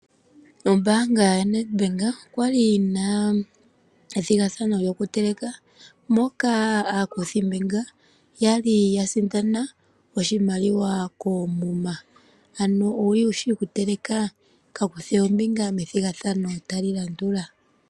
Ombaanga yaNEDBANK okwa li yina ethigathano lyoku teleka moka aakuthimbinga yali ya sindana oshimaliwa koomuma. Ano owuli wushi oku teleka? Kandi kuthe ombinga methigathano ndi tali landula.